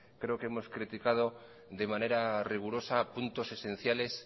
creo que hemos criticado de manera rigurosa puntos esenciales